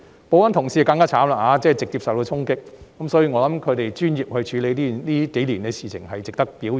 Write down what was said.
保安同事更可憐，直接受到議員衝擊，所以，我認為他們專業地處理這數年的事情，是值得表揚的。